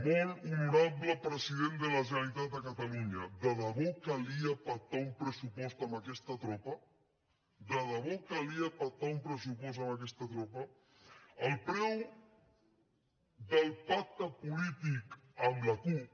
molt honorable president de la generalitat de catalunya de debò calia pactar un pressupost amb aquesta tropa de debò calia pactar un pressupost amb aquesta tropa el preu del pacte polític amb la cup